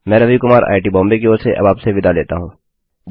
मैं रवि कुमार आईआईटीबॉम्बे की ओर से आपसे विदा लेता हूँ